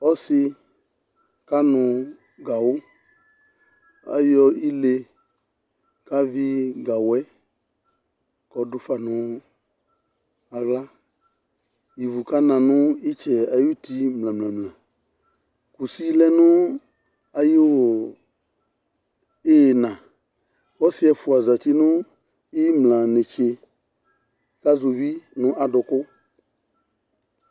Ɔsɩ kanʋ gawʋ Ayɔ ɩle kavɩ gawʋɛ k'ɔdufa nʋ aɣla Ɩvʋ kana nʋ ɩtsɛɛ ay'ʋti mlǝmlǝmlǝ Kʋsɩ lɛ nʋ ayʋʋ ɩɣɩna Ɔsiɛfʋa zǝti nʋ ayʋ iɣimla netse k'azʋvi nʋ adʋkʋ